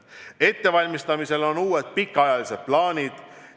Ettevalmistamisel on uued pikaajalised plaanid.